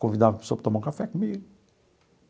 Convidava a pessoa para tomar um café comigo.